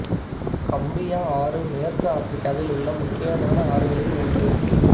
Gambia ஆறு மேற்கு ஆப்பிரிக்காவில் உள்ள முக்கியமான ஆறுகளில் ஒன்று